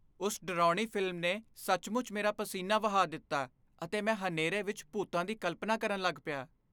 ਉਸ ਡਰਾਉਣੀ ਫ਼ਿਲਮ ਨੇ ਸੱਚਮੁੱਚ ਮੇਰਾ ਪਸੀਨਾ ਵਹਾ ਦਿੱਤਾ ਅਤੇ ਮੈਂ ਹਨੇਰੇ ਵਿੱਚ ਭੂਤਾਂ ਦੀ ਕਲਪਨਾ ਕਰਨ ਲੱਗ ਪਿਆ।